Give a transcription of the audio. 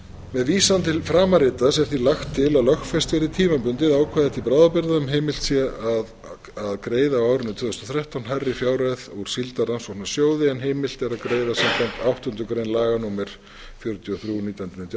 með vísan til framanritaðs er því lagt til að lögfest verði tímabundið ákvæði til bráðabirgða um að heimilt sé að greiða á árinu tvö þúsund og þrettán hærri fjárhæð úr síldarrannsóknasjóði en heimilt er að greiða samkvæmt áttundu grein laga númer fjörutíu og þrjú nítján hundruð níutíu og